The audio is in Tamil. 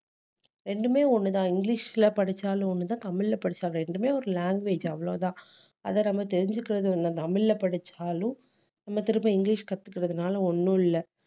ரெண்டுமே ஒண்ணுதான் இங்கிலிஷ்ல படிச்சாலும் ஒண்ணுதான் தமிழ்ல படிச்சாலும் ரெண்டுமே ஒரு language அவ்வளவுதான் அதை நம்ம தெரிஞ்சுக்கிறது ஒண்ணுதான் தமிழ்ல படிச்சாலும் நம்ம திரும்ப இங்கிலிஷ் கத்துக்கிறதுனால ஒண்ணும் இல்லை